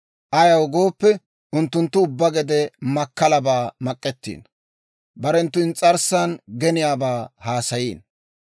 ayaw gooppe, unttunttu ubbaa gede makkalabaa mak'ettiino; barenttu ins's'arssan geniyaabaa haasayiino.